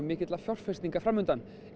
mikilla fjárfestinga fram undan